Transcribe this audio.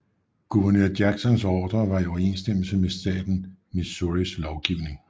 Guvernør Jacksons ordre var i overensstemmelse med statens Missouris lovgivning